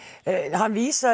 hann vísaði